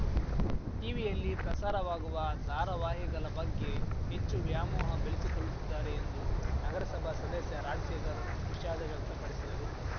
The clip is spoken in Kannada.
ಟಿವಿಯಲ್ಲಿ ಪ್ರಸಾರವಾಗುವ ಧಾರವಾಹಿಗಲ ಬಗ್ಗೆ ಹೆಚ್ಚು ವ್ಯಾಮೋಹ ಬೆಲೆಸಿಕೊಲ್ಲುತ್ತಿದ್ದಾರೆ ಎಂದು ನಗರಸಭಾ ಸದಸ್ಯ ರಾಜಶೇಖರ್ ವಿಷಾದ ವ್ಯಕ್ತಪಡಿಸಿದರು